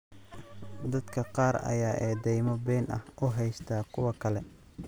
Dadka qaar ayaa eedaymo been ah u haysta kuwa kale.